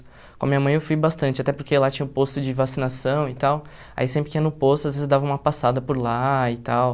Com a minha mãe eu fui bastante, até porque lá tinha um posto de vacinação e tal, aí sempre que ia no posto, às vezes dava uma passada por lá e tal.